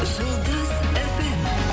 жұлдыз фм